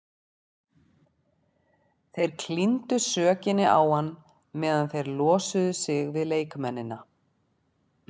Þeir klíndu sökinni á hann meðan þeir losuðu sig við leikmennina.